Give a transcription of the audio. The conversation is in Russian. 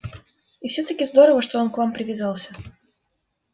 а все таки здорово он к вам привязался